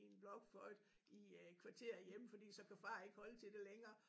I en blokfløjte i øh kvarter hjemme fordi så kan far ikke holde til det længere